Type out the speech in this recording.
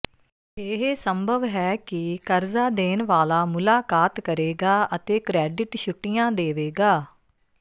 ਇਹ ਸੰਭਵ ਹੈ ਕਿ ਕਰਜ਼ਾ ਦੇਣ ਵਾਲਾ ਮੁਲਾਕਾਤ ਕਰੇਗਾ ਅਤੇ ਕ੍ਰੈਡਿਟ ਛੁੱਟੀਆਂ ਦੇਵੇਗਾ